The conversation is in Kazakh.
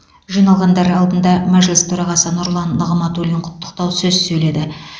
жиналғандар алдында мәжіліс төрағасы нұрлан нығматулин құттықтау сөз сөйледі